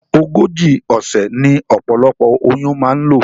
Ogójì òsè ní opolopo oyún ma n lò